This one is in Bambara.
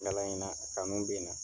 Kalan in na, a kanu bɛ n na